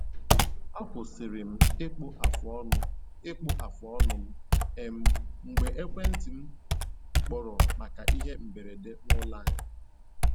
Akwụsịlị m ịkpụ afụ ọnụ ịkpụ afụ ọnụ m um mgbe ekwenti m kpọrọ maka ihe mberede n’ụlọ anyị